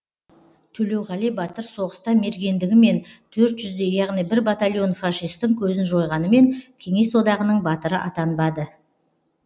төлеуғали батыр соғыста мергендігімен төрт жүздей яғни бір батальон фашистің көзін жойғанымен кеңес одағының батыры атанбады